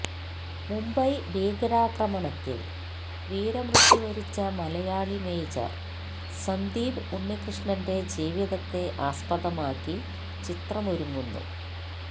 മുംബൈ ഭീകരാക്രമണത്തില് വീരമൃത്യു വരിച്ച മലയാളി മേജര് സന്ദീപ് ഉണ്ണികൃഷ്ണന്റെ ജീവിതത്തെ ആസ്പദമാക്കി ചിത്രമൊരുങ്ങുന്നു